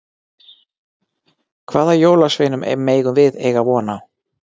Hvaða jólasveinum megum við eiga von á?